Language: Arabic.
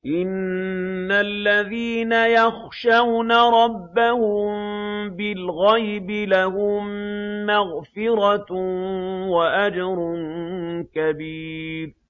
إِنَّ الَّذِينَ يَخْشَوْنَ رَبَّهُم بِالْغَيْبِ لَهُم مَّغْفِرَةٌ وَأَجْرٌ كَبِيرٌ